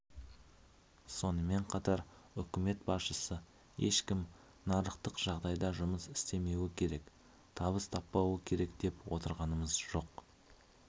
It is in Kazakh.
сонымен қатар үкімет басшысы ешкім нарықтық жағдайда жұмыс істемеуі керек табыс таппауы керек деп отырғанымыз жоқ